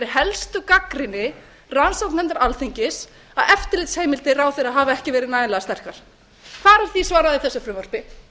helstu gagnrýni rannsóknarnefndar alþingis að eftirlitsheimildir ráðherra hafi ekki verið nægilega sterkar hvar er því svarað í þessu frumvarpi